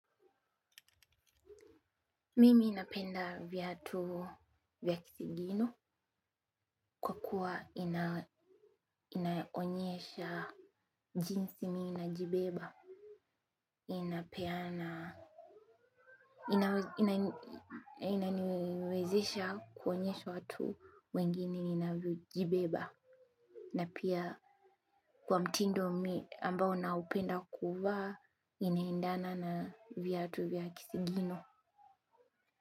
Mimi napenda viatu vya kisigino kwa kuwa inaonyehsa jinsi mimi najibeba. Inapeana, inaniwezesha kuonyesha watu wengine ninavyojibeba. Na pia kwa mtindo ambao naupenda kuva, inaendana na viatu vya kisigino.